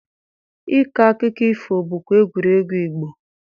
Ịkọ akụkụ ifo bụkwa egwuregwu Igbo.